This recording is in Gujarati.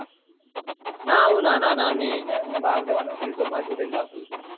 ના હું નાના નાની ને એમને બાર જવા નથી દેતો માર જોડે જ રાખું